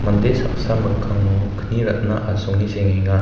mande saksa mikkango kni ratna asonge sengenga.